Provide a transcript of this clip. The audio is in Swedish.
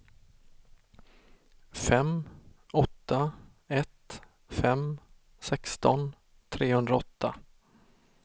fem åtta ett fem sexton trehundraåtta